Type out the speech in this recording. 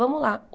Vamos lá.